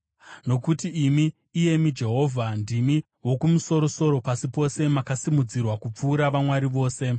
Nokuti imi, iyemi Jehovha, ndimi Wokumusoro-soro pasi pose; makasimudzirwa kupfuura vamwari vose.